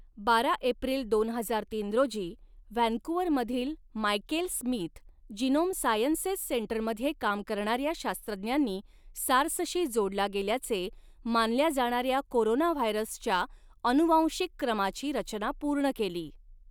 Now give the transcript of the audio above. बारा एप्रिल दोन हजार तीन रोजी, व्हॅन्कुव्हरमधील मायकेल स्मिथ जीनोम सायन्सेस सेंटरमध्ये काम करणाऱ्या शास्त्रज्ञांनी सार्सशी जोडला गेल्याचे मानल्या जाणाऱ्या कोरोनाव्हायरसच्या अनुवांशिक क्रमाची रचना पूर्ण केली.